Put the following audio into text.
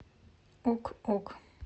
ок ок